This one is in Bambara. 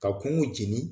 Ka kungo jeni